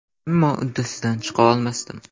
Ammo uddasidan chiqa olmasdim.